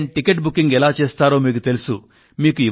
on line ticket booking ఎలా చేస్తారో మీకు తెలుసు